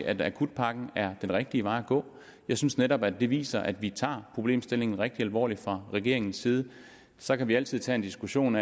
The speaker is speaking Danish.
at akutpakken er den rigtige vej at gå jeg synes netop at det viser at vi tager problemstillingen rigtig alvorligt fra regeringens side så kan vi altid tage en diskussion